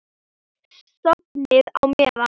Sofnið á meðan.